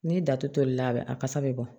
N'i datolila a kasa bɛ bɔ